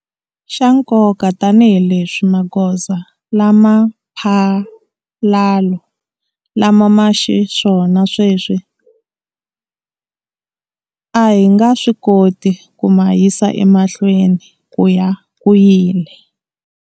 Xa nkoka tanihileswi magoza lama mphalalo lama ma xiswona sweswi, a hi nga swi koti ku ma yisa emahlweni ku ya ku yile.